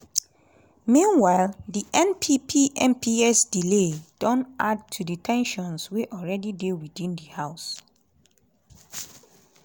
meanwhile di npp mps delay don add to di ten sions wey already dey within di house.